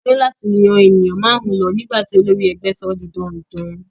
A ní láti yan ènìyàn márùn-ún lọ nígbà tí olórí ẹgbẹ́ sọ ọ́ di dandan.